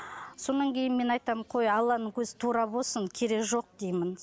содан кейін мен айтам қой алланың көзі тура болсын керегі жоқ деймін